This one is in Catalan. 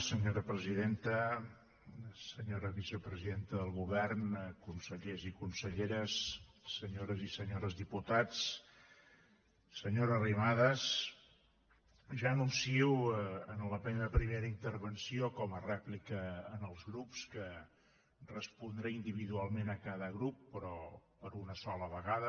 senyora presidenta senyora vicepresidenta del govern consellers i conselleres senyores i senyors diputats senyora arrimadas ja anuncio en la meva primera intervenció com a rèplica als grups que respondré individualment a cada grup però per una sola vegada